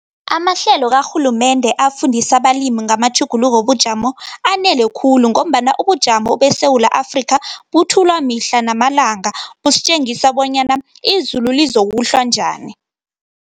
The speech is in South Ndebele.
Amahlelo karhulumende afundisa abalimi ngamatjhuguluko wobujamo, anele khulu, ngombana ubujamo beSewula Afrika, buthulwa mihla namalanga, busitjengisa bonyana, izulu lizokuhlwa njani.